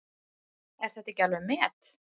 Er þetta ekki alveg met!